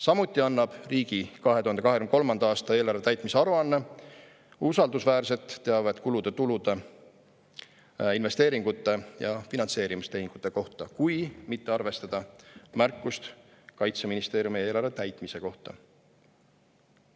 Samuti annab riigi 2023. aasta eelarve täitmise aruanne usaldusväärset teavet kulude-tulude, investeeringute ja finantseerimistehingute kohta, kui mitte arvestada märkust Kaitseministeeriumi eelarve täitmise kohta.